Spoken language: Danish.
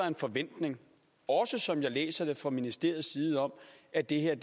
en forventning også som jeg læser det fra ministeriets side om at det her